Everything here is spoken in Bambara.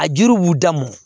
A jiri b'u dam